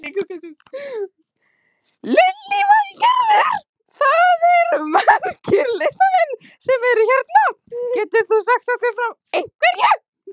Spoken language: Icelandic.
Lillý Valgerður: Það eru margir listamenn sem eru hérna, getur þú sagt okkur frá einhverju?